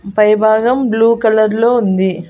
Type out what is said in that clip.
పై భాగం blue colour లో ఉంది.